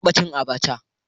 Na taba cin Abacha